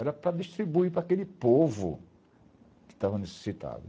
Era para distribuir para aquele povo que estava necessitado.